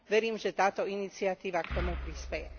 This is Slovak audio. Verím, že táto iniciatíva k tomu prispeje.